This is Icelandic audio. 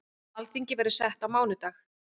Alþingi verður sett á mánudag.